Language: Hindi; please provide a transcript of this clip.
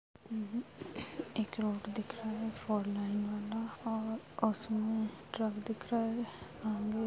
एक रोड दिख रहा है फोर लाइन वाला और उसमें ट्रक दिख रहा है आगे--